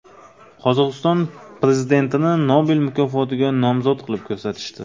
Qozog‘iston prezidentini Nobel mukofotiga nomzod qilib ko‘rsatishdi.